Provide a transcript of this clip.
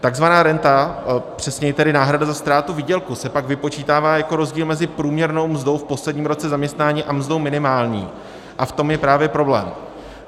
Takzvaná renta, přesněji tedy náhrada za ztrátu výdělku, se pak vypočítává jako rozdíl mezi průměrnou mzdou v posledním roce zaměstnání a mzdou minimální a v tom je právě problém.